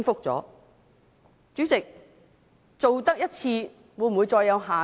主席，做了一次，會否再有下次？